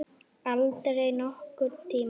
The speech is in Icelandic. Aldrei nokkurn tíma!